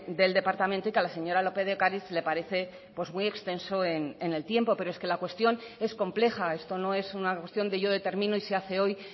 del departamento y que a la señora lópez de ocariz le parece pues muy extenso en el tiempo pero es que la cuestión es compleja esto no es una cuestión de yo determino y se hace hoy